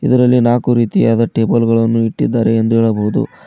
ಇದರಲ್ಲಿ ನಾಕು ರೀತಿಯಾದ ಟೇಬಲ್ ಗಳನ್ನು ಇಟ್ಟಿದಾರೆ ಎಂದು ಹೇಳಬಹುದು.